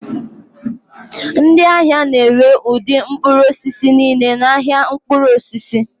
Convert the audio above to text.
Ndị ahịa na-ere ụdị mkpụrụ osisi niile n'ahịa mkpụrụ osisi